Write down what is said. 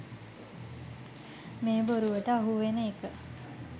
මේ බොරුවට අහුවෙන එක.